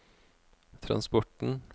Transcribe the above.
transporten